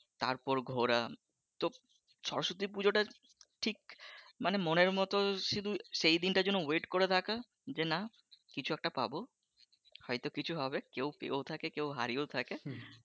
তারপর ঘোরা তো সরস্বতী পুজোটা ঠিক মানে মনের মতো শুধু সেইদিনটার জন্য বইটি করে থাকা যে না কিছু একটা পাবো হয়তো কিছু হবে কেউ পেয়েও থাকে কেউ হারিয়েও থাকে,